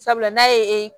Sabula n'a ye